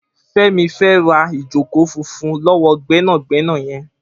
Femi fè rá ijókó fúnfún lọwọ gbẹnágbẹná yèn